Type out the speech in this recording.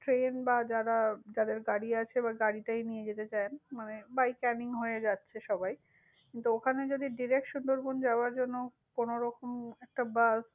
Train বা যাদের গাড়ি আছে, গাড়িটাই নিয়ে যেতে চায়। মানে by কানিং হয়ে যাচ্ছে সবাই। কিন্তু ওখানে যদি direct সুন্দরবন যাবার জন্য কোনো রকম একটা bus